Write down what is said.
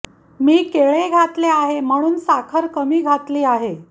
मी केळे घातले आहे म्हणून साखर कमी घेतली आहे